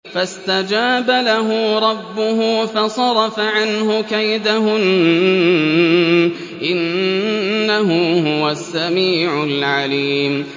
فَاسْتَجَابَ لَهُ رَبُّهُ فَصَرَفَ عَنْهُ كَيْدَهُنَّ ۚ إِنَّهُ هُوَ السَّمِيعُ الْعَلِيمُ